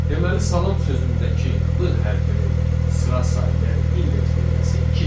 Deməli salam sözündəki l hərfinin sıra sayı, yəni indeks nömrəsi ikidir.